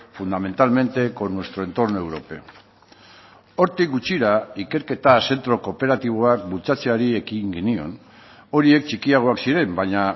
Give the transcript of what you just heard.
fundamentalmente con nuestro entorno europeo hortik gutxira ikerketa zentro kooperatiboak bultzatzeari ekin genion horiek txikiagoak ziren baina